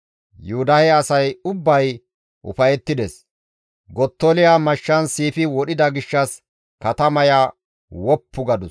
Yuhuda asay ubbay ufayettides; Gottoliya mashshan siifi wodhida gishshas katamaya woppu gadus.